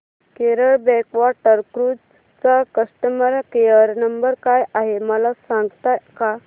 Kerala backwater cruise चा customer care number काय आहे मला सांगता का